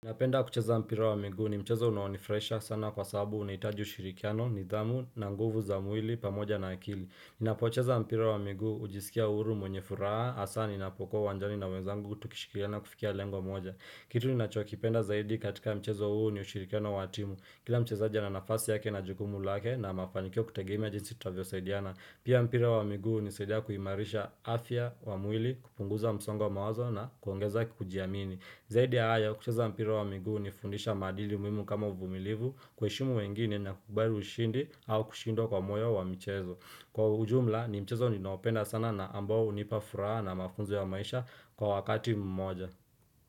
Napenda kucheza mpira wa migu ni mchezo unawonifresha sana kwa sababu unaitaji ushirikiano ni dhamu na nguvu za mwili pamoja na akili. Napocheza mpira wa migu ujisikia uhuru mwenye furaha asa ninapoko uwanjani na wenzangu tukishikiliana kufikia lengo moja. Kitu ni nacho kipenda zaidi katika mchezo huu ni ushirikiano watimu. Kila mcheza ana nafasi yake na jukumu lake na mafanikio kutegemea tunavyosaidiana Pia mpira wa migu husaidia kuimarisha afya kwa mwili na kupunguza msongo wamawazo na kuongeza kujiamini. Zaidi ya haya kucheza mpira wa migu hunifundisha maadili muhimu kama uvumilivu kueshimu wengine na kukubali u ushindi au kushindwa kwa moyo wa mchezo. Kwa ujumla ni mchezo ninaopenda sana na ambao unipa furaha na mafunzo ya maisha kwa wakati mmoja.